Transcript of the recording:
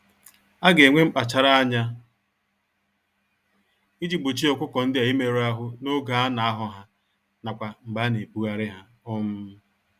Aga enwe mkpachara ányá iji gbochie ọkụkọ ndịa imerụ ahụ n'oge ana ahọ ha, n'akwa mgbe ana-ebugharị ha. um